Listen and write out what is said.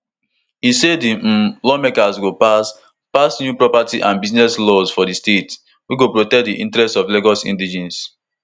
e say di um lawmakers go pass pass new property and business ownership laws for di state wey go protect di interest of lagos indigenes